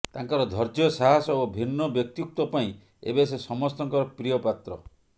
ତାଙ୍କର ଧୈର୍ଯ୍ୟ ସାହସ ଓ ଭିନ୍ନ ବ୍ୟକ୍ତିତ୍ୱ ପାଇଁ ଏବେ ସେ ସମସ୍ତଙ୍କର ପ୍ରିୟପାତ୍ର